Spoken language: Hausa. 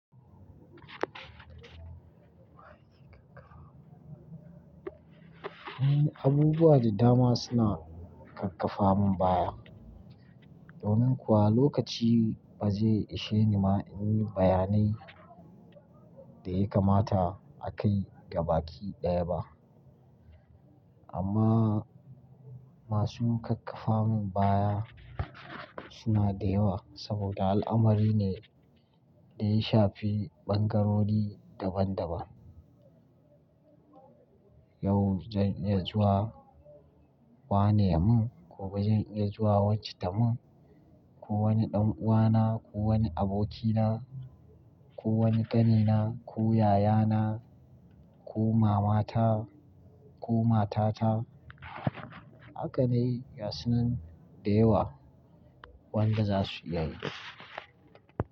Abubuwa da dama suna kakkafa min baya, domin kuwa lokaci ba zai ishe ni ma in yi bayanai da ya kamata a kai gaba ki ɗaya ba. Amma masu kakkafa min baya suna da yawa saboda al'amari ne da ya shafi ɓangarori daban-daban. Yau zan iya zuwa wane mu, gobe zan iya zuwa wacce ta mu, ko wani ɗan'uwana, ko wani abokina, ko wani ƙanina, ko yayana, ko mamata, ko matata. Haka ne, gasunan da yawa wanda za su iya yi.